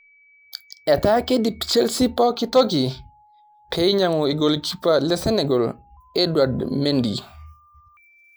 Etaa keidip chealse pooki toki pee eniyangú orgolikipa le Senegal edward mendy